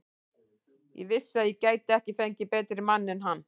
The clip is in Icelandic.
Ég vissi að ég gæti ekki fengið betri mann en hann.